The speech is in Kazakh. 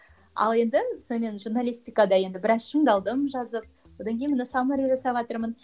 ал енді сонымен журналистикада енді біраз шыңдалдым жазып одан кейін міне саммари жасаватырмын